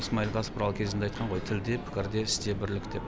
исмайл тасбұрау кезінде айтқан ғой тілде пікірде істе бірлік деп